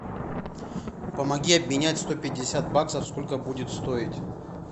помоги обменять сто пятьдесят баксов сколько будет стоить